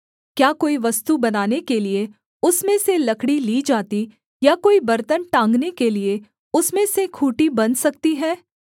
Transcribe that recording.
क्या कोई वस्तु बनाने के लिये उसमें से लकड़ी ली जाती या कोई बर्तन टाँगने के लिये उसमें से खूँटी बन सकती है